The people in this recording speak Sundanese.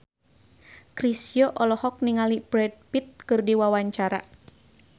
Chrisye olohok ningali Brad Pitt keur diwawancara